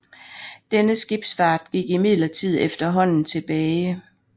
Denne skibsfart gik imidlertid efterhånden tilbage